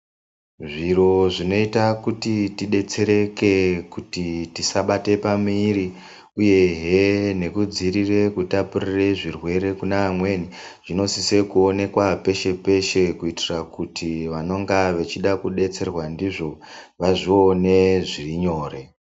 Zviro zvinoita kuti tidetsereke kuti tisabate pamuiri uyehe nekudziirire kutapurire zvirwere kuna amweni, zvinosise kuonekwa peshe peshe kuitira kuti vanenge vachida kudetserwa ndizvo vazvione zviri nyore.